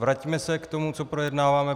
Vraťme se k tomu, co projednáváme.